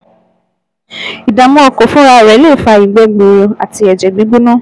Ìdààmú ọkàn fúnra rẹ̀ lè fa ìgbẹ́ gbuuru àti ẹ̀jẹ̀ gbígbóná